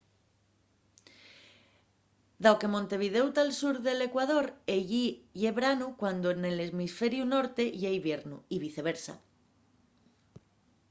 dao que montevidéu tá al sur del ecuador ellí ye branu cuando nel hemisferiu norte ye iviernu y viceversa